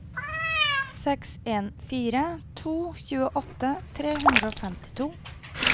seks en fire to tjueåtte tre hundre og femtito